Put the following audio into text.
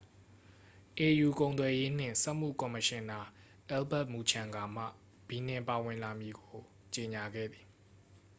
au ကုန်သွယ်ရေးနှင့် စက်မှု ကော်မရှင်နာ အယ်လ်ဘတ် မူချန်ဂါမှ ဘီနင်ပါဝင်လာမည်ကို ကြေငြာခဲ့သည်